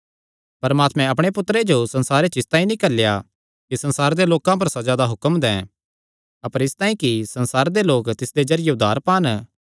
परमात्मैं अपणे पुत्तरे जो संसारे च इसतांई नीं घल्लेया कि संसारे दे लोकां पर सज़ा दा हुक्म दैं अपर इसतांई कि संसार दे लोक तिसदे जरिये उद्धार पान